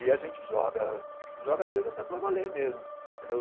E a gente joga, joga às vezes até para valer mesmo, entendeu